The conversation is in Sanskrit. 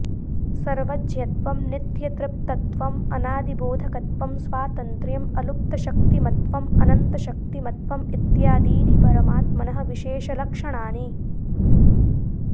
सर्वज्ञत्वं नित्यतृप्तत्वम् अनादिबोधकत्वं स्वातन्त्र्यम् अलुप्तशक्तिमत्त्वम् अनन्तशक्तिमत्त्वम् इत्यादीनि परमात्मनः विशेषलक्षणानि